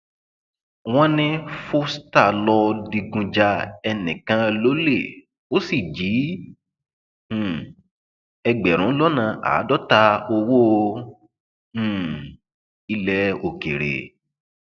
wọn ní foster lọọ digun ja ẹnìkan lólè ó sì jí um ẹgbẹrún lọnà àádọta owó um ilẹ òkèèrè